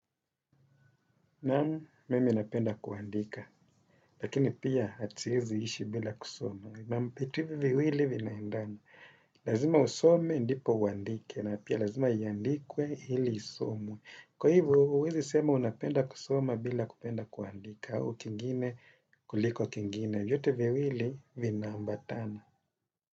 Naam, mimi napenda kuandika. Lakini pia siwezi ishi bila kusoma. Naam, vitu hivi viwili vinaendana. Lazima usome ndipo uandike, na pia lazima iyandikwe ili isomwe. Kwa hivo, huwezi sema unapenda kusoma bila kupenda kuandika, au kingine kuliko kingine. Vyote viwili vinaambatana.